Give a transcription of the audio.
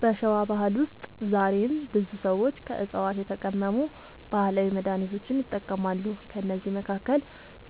በሸዋ ባህል ውስጥ ዛሬም ብዙ ሰዎች ከዕፅዋት የተቀመሙ ባህላዊ መድሃኒቶችን ይጠቀማሉ። ከእነዚህ መካከል